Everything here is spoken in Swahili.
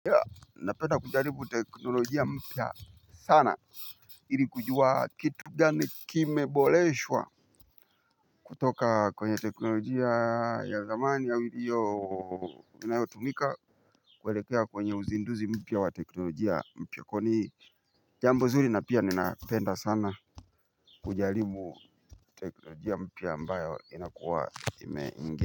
Napenda kujalibu teknolojia mpya sana ili kujua kitu gani kimeboleshwa. Kutoka kwenye teknolojia ya zamani ya ulio inayotumika kwelekea kwenye uzinduzi mpya wa teknolojia mpya kwani hii jambo zuri na pia ninapenda sana kujaribu teknologia mpya ambayo.